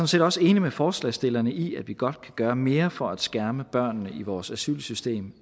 set også enig med forslagsstillerne i at vi godt kan gøre mere for at skærme børnene i vores asylsystem